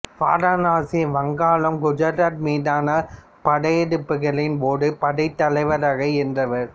வாரணாசி வங்காளம் குஜராத் மீதான படையெடுப்புகளின் போது படைத்தலைவராக இருந்தவர்